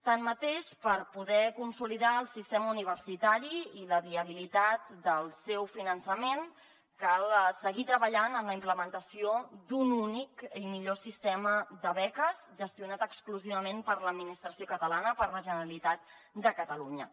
així mateix per poder consolidar el sistema universitari i la viabilitat del seu fi·nançament cal seguir treballant en la implementació d’un únic i millor sistema de beques gestionat exclusivament per l’administració catalana per la generalitat de catalunya